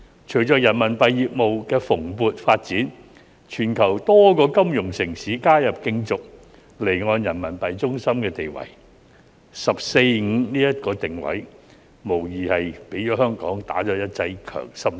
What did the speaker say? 隨着人民幣業務的蓬勃發展，全球多個金融城市加入競逐離岸人民幣中心的地位，"十四五"這個定位無疑為香港注入一劑強心針。